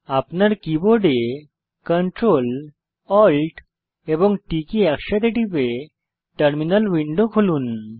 আপনার keyboard Ctrl Alt এবং T একসাথে টিপে টার্মিনাল উইন্ডো খুলুন